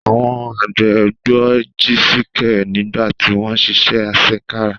Àwọn àgbẹ̀ gbọ́ Jisike nígbà tí wọ́n ń ṣiṣẹ́ àṣekára.